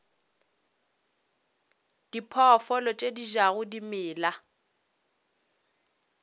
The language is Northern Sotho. diphoofolo tše di jago dimela